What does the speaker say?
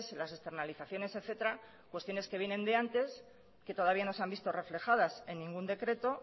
las externalizaciones etcétera cuestiones que vienen de antes que todavía no se han visto reflejadas en ningún decreto